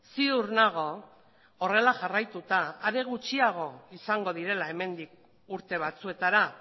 ziur nago horrela jarraituta are gutxiago izango direla hemendik urte batzuetara